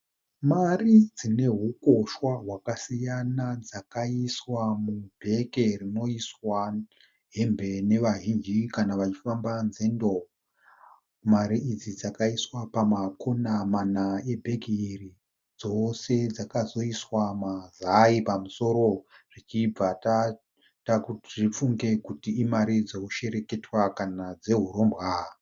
Mari dzine hukoshwa hwakasiyana dzakaiswa mubheke rinoiswa hembe nevazhinji kana vachifamba nzendo. Mari idzi dzakaiswa pama Kona mana e bhegi iri. Dzose dzakazoiswa mazai pamusoro zvibvibva zvaita kuti tifunge kuti imari dzehushereketwa kana dzehurombwa.